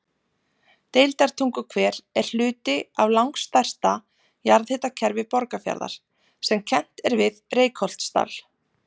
Deildartunguhver er hluti af langstærsta jarðhitakerfi Borgarfjarðar sem kennt er við Reykholtsdal.